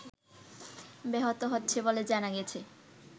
ব্যাহত হচ্ছে বলে জানা গেছে